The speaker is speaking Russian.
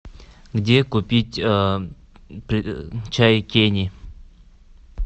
где купить чай кенни